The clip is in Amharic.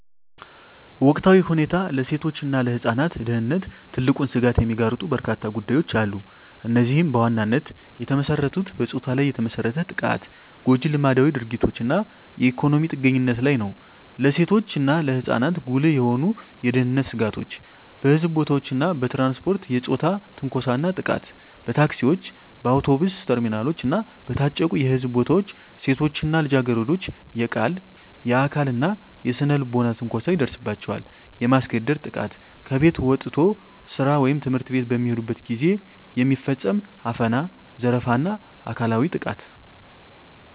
ወቅታዊ ሁኔታ ለሴቶች እና ለህፃናት ደህንነት ትልቁን ስጋት የሚጋርጡ በርካታ ጉዳዮች አሉ። እነዚህም በዋናነት የተመሰረቱት በፆታ ላይ የተመሰረተ ጥቃት፣ ጎጂ ልማዳዊ ድርጊቶች እና የኢኮኖሚ ጥገኝነት ላይ ነው። ለሴቶች እና ለህፃናት ጉልህ የሆኑ የደህንነት ስጋቶች - በሕዝብ ቦታዎች እና በትራንስፖርት የፆታ ትንኮሳ እና ጥቃት በታክሲዎች፣ በአውቶቡስ ተርሚናሎች እና በታጨቁ የሕዝብ ቦታዎች ሴቶች እና ልጃገረዶች የቃል፣ የአካል እና የስነ-ልቦና ትንኮሳ ይደርስባቸዋል። የማስገደድ ጥቃት ከቤት ወጥቶ ስራ ወይም ትምህርት ቤት በሚሄዱበት ጊዜ የሚፈጸም አፈና፣ ዘረፋ እና አካላዊ ጥቃት።